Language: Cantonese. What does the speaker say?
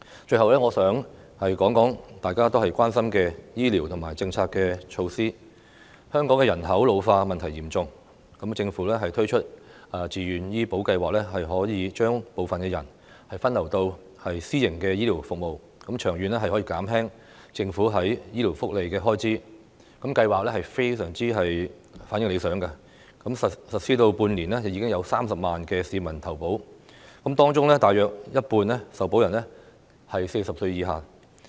最後，我想談談大家都關心的醫療政策及措施，香港的人口老化問題嚴重，政府推出自願醫保計劃，可以將部分人分流到私營的醫療服務，長遠可以減輕政府在醫療福利的開支，計劃的反應非常理想，實施半年，已經有30萬名市民投保，當中大約有一半受保人是40歲以下。